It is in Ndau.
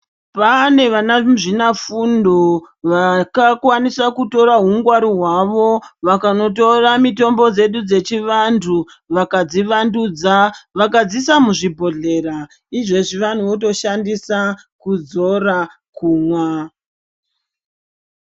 Pane vana muzvina fundo vaka kwanisa kutora hu ngwaru hwavo vakanotora mitombo dzedu dzechi vantu vakadzi wandudza vakadziisa muzvi bhodhlera izvezvi vanhu voto shandisa kuzora kumwa.